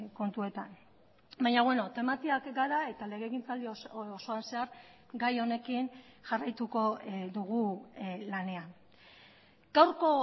kontuetan baina beno tematiak gara eta legegintzaldi osoan zehar gai honekin jarraituko dugu lanean gaurko